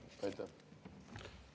Aitäh!